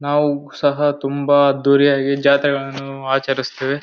ನಾವು ಸಹ ತುಂಬಾ ಅದ್ದೂರಿಯಾಗಿ ಜಾತ್ರೆಗಳನ್ನು ಆಚರಿಸುತ್ತೇವೆ.